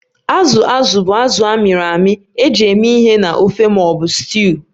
Azụ azụ bụ azụ a mịrị amị eji eme ihe na ofe ma ọ bụ stuuyu